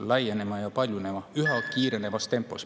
Laienema ja paljunema üha kiirenevas tempos.